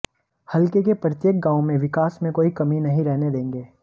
हलके के प्रत्येक गांव में विकास में कोई कमी नहीं रहने देंगे